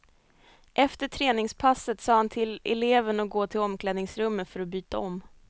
Efter träningspasset sa han till eleven att gå till omklädningsrummet för att byta om.